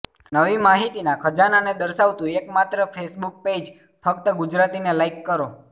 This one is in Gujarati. નવી માહિતીના ખજાનાને દર્શાવતું એકમાત્ર ફેસબુક પેઇઝ ફક્ત ગુજરાતીને લાઈક કરો